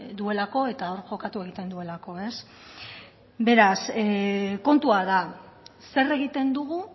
duelako eta hor jokatu egiten duelako beraz kontua da zer egiten dugu